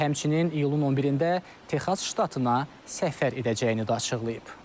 O, həmçinin iyulun 11-də Texas ştatına səfər edəcəyini də açıqlayıb.